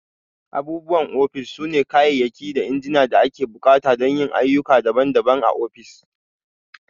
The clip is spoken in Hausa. Abubuwan ofis sune kayayyaki da injina da ake buƙata don yin ayyuka daban-daban a ofis.